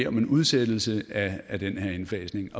om en udsættelse af den her indfasning